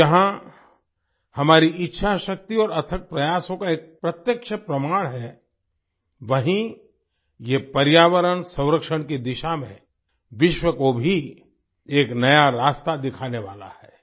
ये जहाँ हमारी इच्छाशक्ति और अथक प्रयासों का एक प्रत्यक्ष प्रमाण है वहीं ये पर्यावरण संरक्षण की दिशा में विश्व को भी एक नया रास्ता दिखाने वाला है